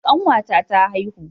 Kanwata ta haihu